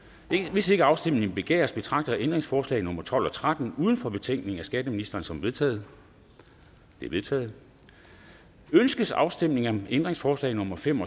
hvis ikke afstemning begæres betragter jeg ændringsforslag nummer tolv og tretten uden for betænkningen af skatteministeren som vedtaget de er vedtaget ønskes afstemning om ændringsforslag nummer fem